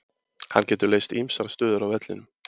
Hann getur leyst ýmsar stöður á vellinum.